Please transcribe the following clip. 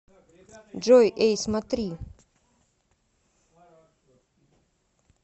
джой эй смотри